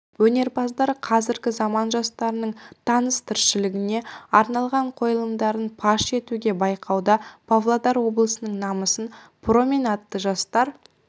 өнерпаздар қазіргі заман жастарының тыныс-тіршілігіне арналған қойылымдарын паш етуде байқауда павлодар облысының намысын промень атты жастар